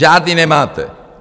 Žádný nemáte!